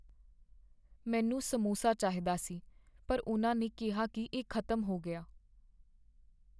ਮੈਨੂੰ ਸਮੋਸਾ ਚਾਹੀਦਾ ਸੀ ਪਰ ਉਨ੍ਹਾਂ ਨੇ ਕਿਹਾ ਕੀ ਇਹ ਖ਼ਤਮ ਹੋ ਗਿਆ।